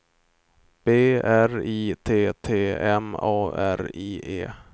B R I T T M A R I E